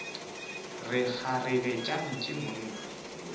re kgarebe tša ntshe monna